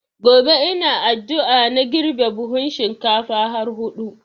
Gobe ina addua na girbe buhun shinkafa har hudu